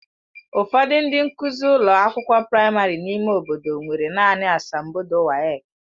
Ụfọdụ ndị nkụzi ụlọ akwụkwọ praịmarị n'ime obodo nwere naanị asambodo WAEki.